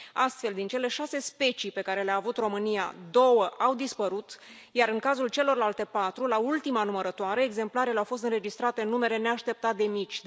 Astfel, din cele șase specii pe care le a avut România, două au dispărut, iar, în cazul celorlalte patru, la ultima numărătoare, exemplarele au fost înregistrate în numere neașteptat de mici.